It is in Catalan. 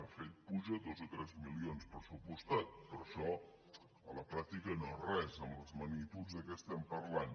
de fet puja dos o tres milions pressupostats però això a la pràctica no és res amb les magnituds de què estem parlant